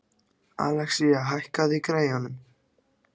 Axelía, hækkaðu í græjunum.